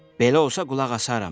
Belə olsa qulaq asaram.